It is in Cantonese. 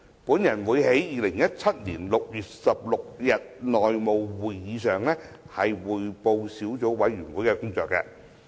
我會在2017年6月16日的內務委員會會議上匯報小組委員會的工作。